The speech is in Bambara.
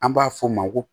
An b'a f'o ma ko